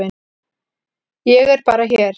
Ég er bara hér.